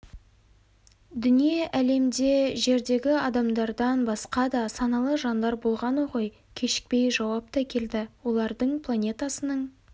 дүние әлемде жердегі адамдардан басқа да саналы жандар болғаны ғой кешікпей жауап та келді олардың планетасының